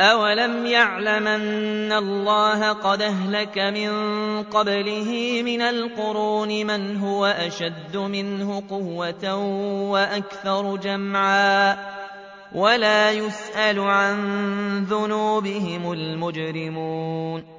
أَوَلَمْ يَعْلَمْ أَنَّ اللَّهَ قَدْ أَهْلَكَ مِن قَبْلِهِ مِنَ الْقُرُونِ مَنْ هُوَ أَشَدُّ مِنْهُ قُوَّةً وَأَكْثَرُ جَمْعًا ۚ وَلَا يُسْأَلُ عَن ذُنُوبِهِمُ الْمُجْرِمُونَ